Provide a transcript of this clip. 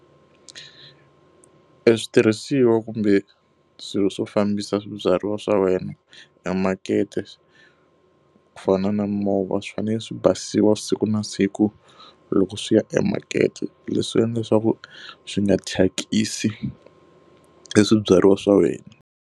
E switirhisiwa kumbe swilo swo fambisa swibyariwa swa wena e makete, ku fana na movha swi fanele swi basisiwa siku na siku loko swi ya e makete. Leswi endla leswaku swi nga thyakisi e swibyariwa swa wena.